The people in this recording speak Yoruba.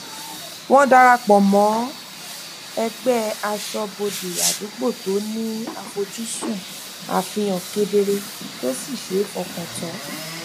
wọn darapọ mọ ẹgbẹ aṣọbode àdúgbò tó ni afojsun àfihàn kedere to si ṣe e fọkan tan